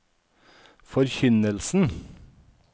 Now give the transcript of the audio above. forkynnelsen